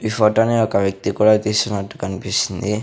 ఈ ఫోటోని ఒక వ్యక్తి కూడా తీసినట్టు కనిపిస్తుంది.